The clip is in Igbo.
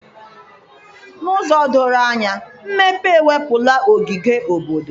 N'ụzọ doro anya, mmepe ewepụla ogige obodo.